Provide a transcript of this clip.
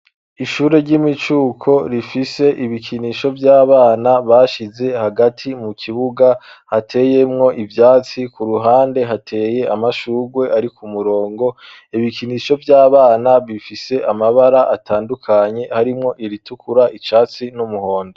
Ishure ry'imicuko rifise ibikinisho vy'abana bashize hagati mu kibuga hateyemwo ivyatsi, ku ruhande hateye amashurwe ari ku murongo, ibikinisho vy'abana bifise amabara atandukanye harimwo iritukura, icatsi, n'umuhondo.